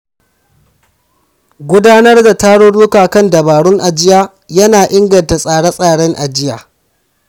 Gudanar da tarurruka kan dabarun ajiya ya na inganta tsare-tsaren ajiya.